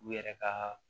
U yɛrɛ ka